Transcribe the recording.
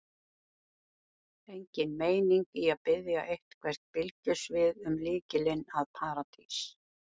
Engin meining í að biðja eitthvert bylgjusvið um lykilinn að Paradís.